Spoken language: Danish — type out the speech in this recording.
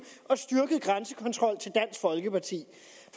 og styrket grænsekontrol til dansk folkeparti